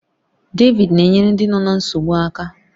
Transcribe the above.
David na-enyere ndị nọ ná nsogbu aka.